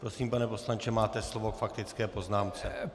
Prosím, pane poslanče, máte slovo k faktické poznámce.